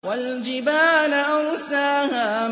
وَالْجِبَالَ أَرْسَاهَا